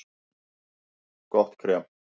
Gott krem